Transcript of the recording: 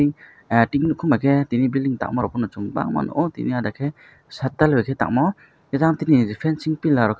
tini biking bai ke tini building tanga rok o bangmano mia deke side dal ke tamo adatili fancyingpiller.